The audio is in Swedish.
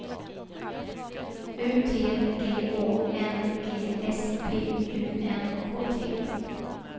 U T G Å N G S P U N K T